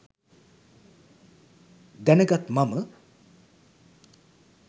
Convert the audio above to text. දැනගත් මම